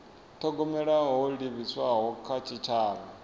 thogomela ho livhiswaho kha tshitshavha